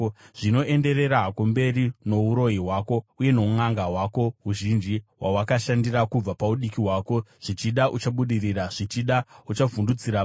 “Zvino, enderera hako mberi nouroyi hwako, uye nounʼanga hwako huzhinji, hwawakashandira kubva paudiki hwako. Zvichida uchabudirira, zvichida uchavhundutsira vamwe.